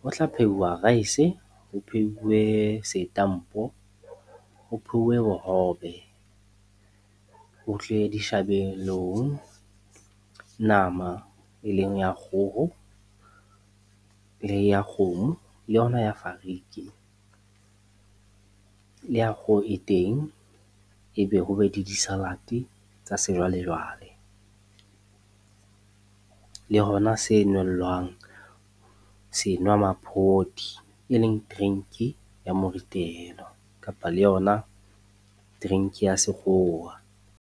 ho tla phehuwa rice, ho pheuwe setampo, ho pheuwe bohobe. Ho tle dishabelong, nama e leng ya kgoho, le ya kgomo, le yona ya fariki, le ya kgoho e teng, ebe ho be le di-salad tsa sejwalejwale. Le ho na se nellwang senwamaphodi, e leng drink-i ya moritelo kapa le yona drink-i ya sekgowa.